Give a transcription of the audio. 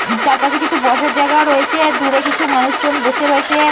চারপাশে কিছু বসার জায়গা রয়েছে। দূরে কিছু মানুষ বসে রয়েছে।